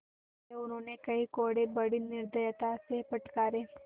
अतएव उन्होंने कई कोडे़ बड़ी निर्दयता से फटकारे